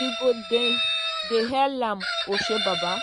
we go dem dey hail am oshobaba!